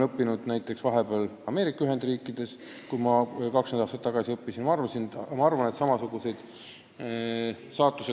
Kui ma ise 20 aastat tagasi õppisin, tudeerisin vahepeal Ameerika Ühendriikides.